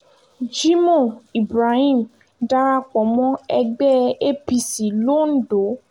jimoh ibrahim darapọ̀ mọ́ ẹgbẹ́ apc londo